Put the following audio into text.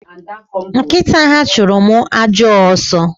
Nkita ha churu m ajo aso